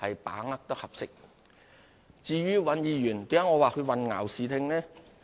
我為何說尹議員混淆視聽呢？